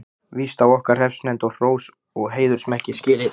Víst á okkar hreppsnefnd hrós og heiðursmerki skilið.